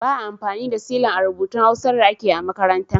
Ba a amfani da silan a rubutun Hausar da ake yi a makaranta.